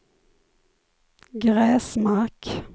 Gräsmark